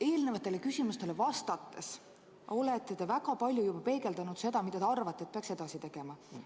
Eelmistele küsimustele vastates olete te väga palju juba öelnud seda, mida teie arvates peaks edasi tegema.